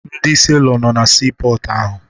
Ndị seelọ nọ na siipọọtụ ahụ